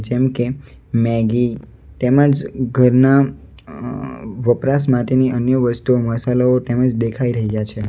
જેમકે મેગી તેમજ ઘરના વપરાશ માટેની અન્ય વસ્તુઓ મસાલો તેમ જ દેખાઈ રહ્યા છે.